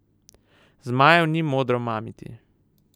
Zmajev ni modro mamiti.